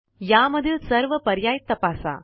यामधील सर्व पर्याय तपासा